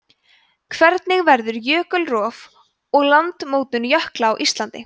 hvernig verður jökulrof og landmótun jökla á íslandi